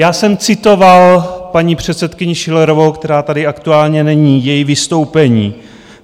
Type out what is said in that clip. Já jsem citoval paní předsedkyni Schillerovou, která tady aktuálně není, její vystoupení.